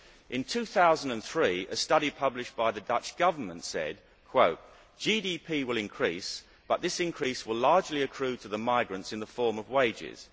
In 2003, a study published by the Dutch Government said GDP will increase but this increase will largely accrue to the migrants in the form of wages.